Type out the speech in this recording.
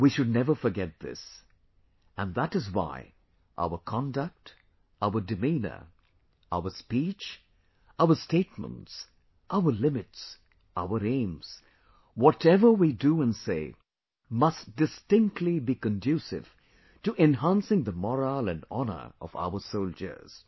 We should never forget this... and that is why our conduct, our demeanour, our speech, our statements, our limits, our aims... whatever we do and say, must distinctly be conducive to enhancing the morale & honour of our soldiers